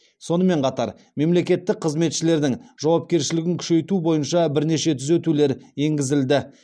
сонымен қатар мемлекеттік қызметшілердің жауапкершілігін күшейту бойынша бірнеше түзетулер енгізілді